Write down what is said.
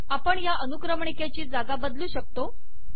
आपण या अनुक्रमणिकेची जागा बदलू शकतो